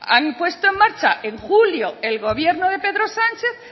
han puesto en marcha en julio el gobierno de pedro sánchez